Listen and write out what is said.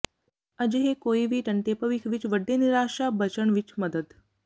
ਅਜਿਹੇ ਕੋਈ ਵੀ ਟੰਟੇ ਭਵਿੱਖ ਵਿੱਚ ਵੱਡੇ ਨਿਰਾਸ਼ਾ ਬਚਣ ਵਿੱਚ ਮਦਦ